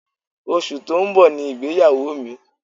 Oṣù tó ń bọ̀ ni ìgbéyàwó mi.